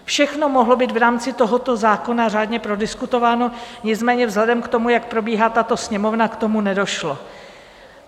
Všechno mohlo být v rámci tohoto zákona řádně prodiskutováno, nicméně vzhledem k tomu, jak probíhá tato Sněmovna, k tomu nedošlo.